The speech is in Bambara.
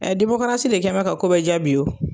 Ɛɛ de kɛlen bɛ ka ko bɛɛ diya bi wo.